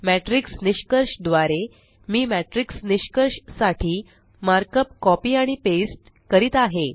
matrix निष्कर्ष द्वारे मी मॅट्रिक्स निष्कर्ष साठी मार्कअप कॉपी आणि पेस्ट करीत आहे